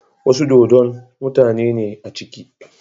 Wasu dodon, mutane ne a ciki